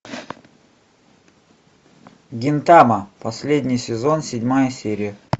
гинтама последний сезон седьмая серия